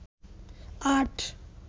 আট